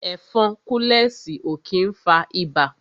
Ẹ̀fọn kúlẹ̀sì ó kí ń fa ibà